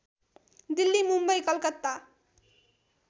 Delhi Mumbai Calcutta